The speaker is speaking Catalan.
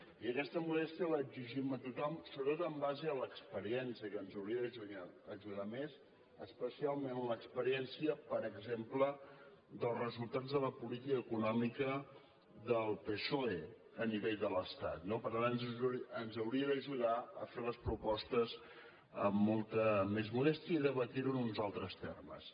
i aquesta modèstia l’exigim a tothom sobretot en base a l’experiència que ens hauria d’ajudar més especialment l’experiència per exemple dels resultats de la política econòmica del psoe a nivell de l’estat no per tant ens hauria d’ajudar a fer les propostes amb molta més modèstia i debatre ho en uns altres termes